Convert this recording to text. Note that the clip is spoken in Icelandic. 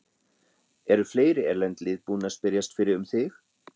Eru fleiri erlend lið búin að spyrjast fyrir um þig?